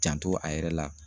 Janto a yɛrɛ la